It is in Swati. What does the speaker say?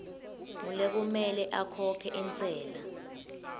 ngulekumele akhokhe intsela